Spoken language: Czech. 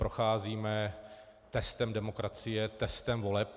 Procházíme testem demokracie, testem voleb.